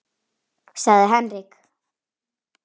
sagði Henrik.